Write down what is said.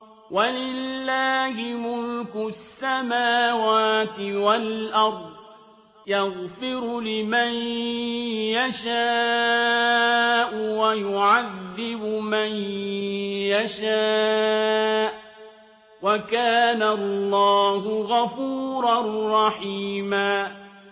وَلِلَّهِ مُلْكُ السَّمَاوَاتِ وَالْأَرْضِ ۚ يَغْفِرُ لِمَن يَشَاءُ وَيُعَذِّبُ مَن يَشَاءُ ۚ وَكَانَ اللَّهُ غَفُورًا رَّحِيمًا